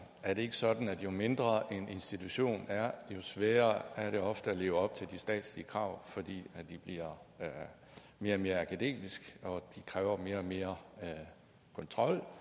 er det ikke sådan at jo mindre en institution er jo sværere er det ofte at leve op til de statslige krav fordi de bliver mere og mere akademiske og de kræver mere og mere kontrol